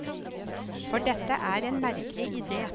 For dette er en merkelig idé.